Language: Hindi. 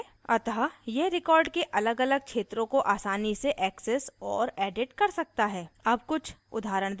अतः यह record के अलगअलग क्षेत्रों को आसानी से access और edit कर सकता है